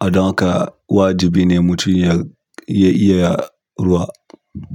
adaka wajibi ne mutum ya iya iya ruwa.